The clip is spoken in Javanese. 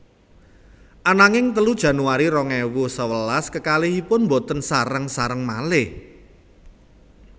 Ananging telu Januari rong ewu sewelas kekalihipun boten sareng sareng malih